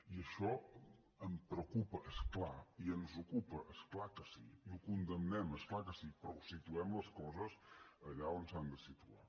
i això em preocupa és clar i ens ocupa és clar que sí i ho condemnem és clar que sí però situem les coses allà on s’han de situar